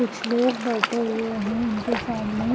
कुछ लोग बैठे हुए हैं उनके सामने--